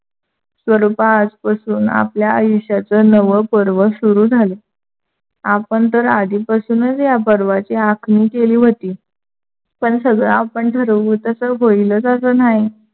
स्वरूपा आजपासून आपल्या आयुष्यच नव पर्व सुरू झाल. आपण तर आधीपासूनच या पर्वाची आखणी केली होती. पण सगड आपण ठरवू तस होईलच अस नाही.